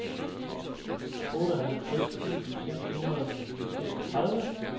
otteoghalvtreds tusind seks hundrede og seksogtredive